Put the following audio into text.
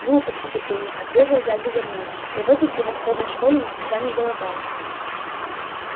глупости петунья отрезал дядя вернон я в этой превосходной школе никогда не голодал